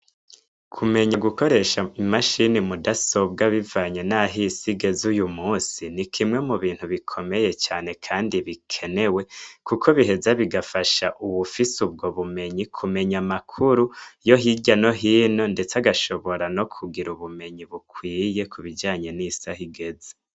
Kumenya gukoresha i mashine mu dasobwa bivanye nah’isi igeze uyu musi, ni kimwe mubintu gikomeye cane kuko biheza bigafasha uwufise ubwob bumenyi kumenya amakuru yo hirya no hino ndetse agashobora no kugira ubumenyi bukwiye kubijanye n'isi ahigeze.